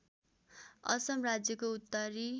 असम राज्यको उत्तरी